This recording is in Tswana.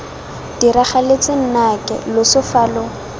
diragaletse nnake loso fa lo